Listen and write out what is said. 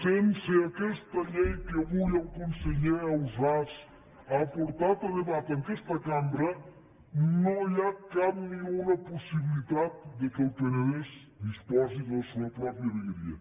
sense aquesta llei que avui el conseller ausàs ha portat a debat en aquesta cambra no hi ha cap ni una possibilitat que el penedès disposi de la seua pròpia vegueria